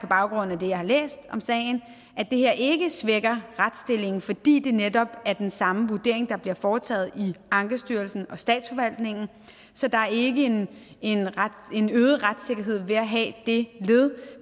baggrund af det jeg har læst om sagen at det her ikke svækker retsstillingen fordi det netop er den samme vurdering der bliver foretaget i ankestyrelsen og statsforvaltningen så der er ikke en øget retssikkerhed ved at have det led